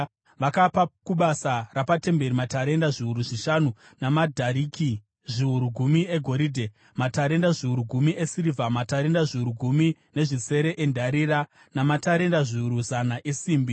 Vakapa kubasa rapatemberi matarenda zviuru zvishanu namadhariki zviuru gumi egoridhe, matarenda zviuru gumi esirivha, matarenda zviuru gumi nezvisere endarira, namatarenda zviuru zana esimbi.